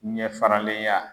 Ɲɛ faralen ya